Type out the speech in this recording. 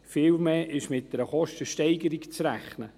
Vielmehr ist mit einer Kostensteigerung zu rechnen.